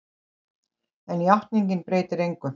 En játningin breytir engu.